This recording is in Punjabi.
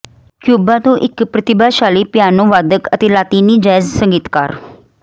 ਕਿਊਬਾ ਤੋਂ ਇੱਕ ਪ੍ਰਤੀਭਾਸ਼ਾਲੀ ਪਿਆਨੋਵਾਦਕ ਅਤੇ ਲਾਤੀਨੀ ਜੈਜ਼ ਸੰਗੀਤਕਾਰ